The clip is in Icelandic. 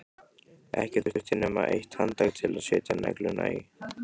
Ekki þurfti nema eitt handtak til að setja negluna í.